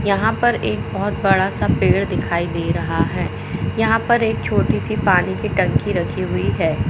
यहाँ पर एक बहोत बड़ा सा पेड़ दिखाई दे रहा है यहाँ पर एक छोटी-सी पानी की टंकी रखी हुई है।